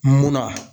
Munna